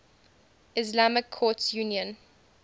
islamic courts union